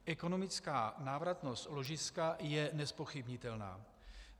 Ekonomická návratnost ložiska je nezpochybnitelná.